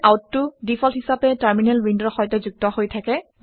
Standardout টো default হিচাপে terminal উইণ্ডৰ সৈতে যুক্ত হৈ থাকে